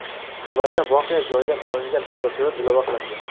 Xabarga voqea joyidan olingan fotosurat ilova qilindi.